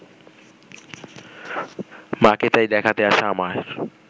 মা’কে তাই দেখাতে আসা আমার